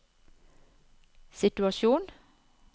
situasjon